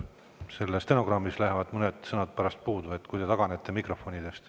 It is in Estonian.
Stenogrammist jäävad pärast mõned sõnad puudu, kui te taganete mikrofonidest.